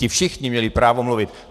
Ti všichni měli právo mluvit.